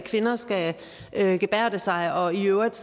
kvinder skal gebærde sig og i øvrigt